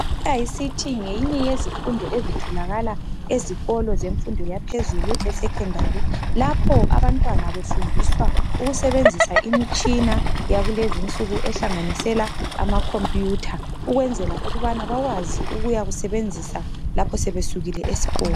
I ICT ngeyinye yezifundo ezitholakala ezikolo zemfundo yaphezulu e secondary lapho abantwana befundiswa ukusebenzisa imitshina yakulezinsuku ehlanganisela ama computer ukwenzela ukubana bawazi ukuwasebenzisa lapho sebe sukile esikolo